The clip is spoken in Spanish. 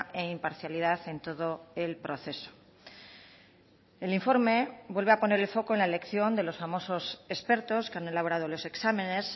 e imparcialidad en todo el proceso el informe vuelve a poner el foco en la elección de los famosos expertos que han elaborado los exámenes